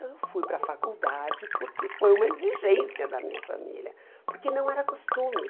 Eu fui para a faculdade porque foi uma exigência da minha família, porque não era costume.